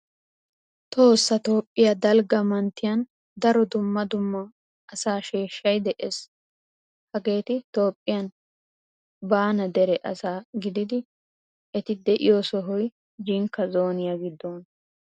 Tohossa Toophphiyaa dalga mantriyan daro dumma dumma asaa sheeshay de'ees. Hageti Toophphiyan baana dere asa gididi eti deiyo sohoy Jinka zooniya giddona.